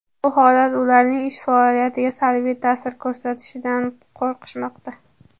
Bu holat ularning ish faoliyatiga salbiy ta’sir ko‘rsatishidan qo‘rqishmoqda.